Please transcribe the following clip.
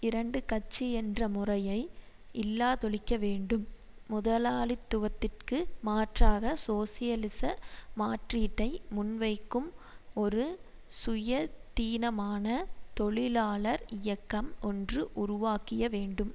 இரண்டு கட்சி என்ற முறையை இல்லாதொழிக்க வேண்டும் முதலாளித்துவத்திற்கு மாற்றாக சோசியலிச மாற்றீட்டை முன்வைக்கும் ஒரு சுயதீனமான தொழிலாளர் இயக்கம் ஒன்று உருவாக்கிய வேண்டும்